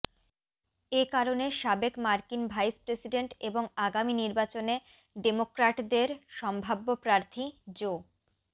এ কারণে সাবেক মার্কিন ভাইস প্রেসিডেন্ট এবং আগামি নির্বাচনে ডেমোক্রাটদের সম্ভাব্য প্রার্থী জো